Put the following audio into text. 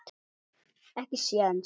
Ekki séns.